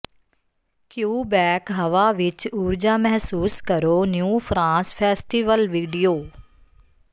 Quebec ਹਵਾ ਵਿਚ ਊਰਜਾ ਮਹਿਸੂਸ ਕਰੋ ਨਿਊ ਫਰਾਂਸ ਫੈਸਟੀਵਲ ਵੀਡੀਓ